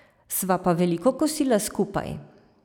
Sva pa veliko kosila skupaj.